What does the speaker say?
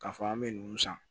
K'a fɔ an bɛ ninnu san